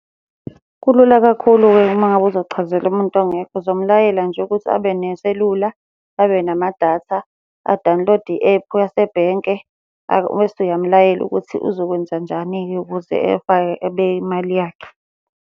Kulula kakhulu-ke uma ngabe uzochazela umuntu ongekho, uzomulayela nje ukuthi abe neselula, abe namadatha, a-download-e i-ephu yasebhenke, bese uyamulayela ukuthi uzokwenzanjani-ke ukuze efake abeke imali yakhe.